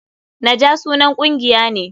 Naja sunan kungiya ne.